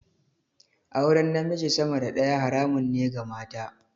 Auren namiji sama da daya haramun ne ga mata.